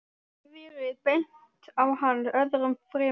Þeim hefði verið bent á hann öðrum fremur.